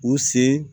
U sen